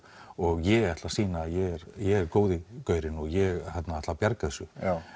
og ég ætla að sýna að ég er góði gaurinn og ég ætla að bjarga þessu